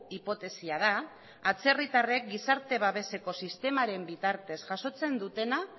hipotesia da atzerritarrek gizarte babeseko sistemaren bitartez jasotzen dutena